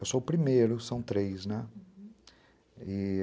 Eu sou o primeiro, são três, né? uhum, e...